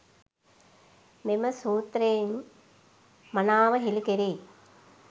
මෙම සූත්‍රයෙන් මනාව හෙළි කෙරෙයි.